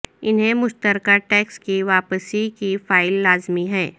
انہیں مشترکہ ٹیکس کی واپسی کی فائل لازمی ہے